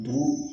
Bugu